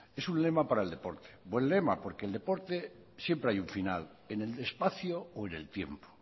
es un lema para el deporte buen lema porque en el deporte siempre hay un final en el espacio o en el tiempo